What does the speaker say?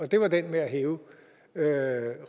det var det med at hæve